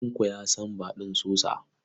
Tanko ya san Badun sosa.